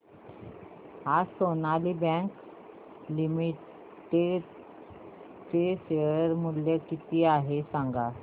आज Sonali bank limited चे share मूल्य किती आहे सांगा